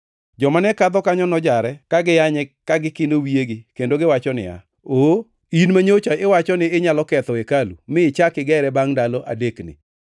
Joma ne kadho kanyo nojare ka giyanye ka gikino wiyegi kendo giwacho niya, “Oo! In manyocha iwacho ni inyalo ketho hekalu mi ichak igere bangʼ ndalo adekni,